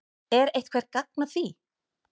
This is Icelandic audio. Er eitthvert gagn að því?